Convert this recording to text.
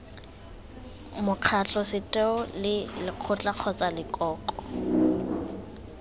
mokgatlho setheo lekgotla kgotsa lekoko